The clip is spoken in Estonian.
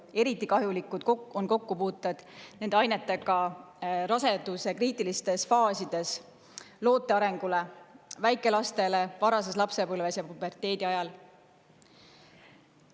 Eriti kahjulikud on kokkupuuted nende ainetega raseduse kriitiliste faaside ajal loote arengule, väikelastele, varases lapsepõlves ja puberteedi ajal.